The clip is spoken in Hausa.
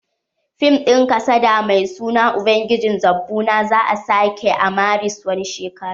Fim din kasada mai suna ubangijin zobbuna za'a sake a maris wani shekara.